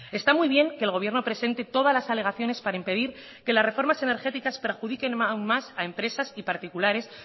está muy bien que el gobierno presente todas las alegaciones para impedir que las reformas energéticas perjudiquen aún más a empresas y particulares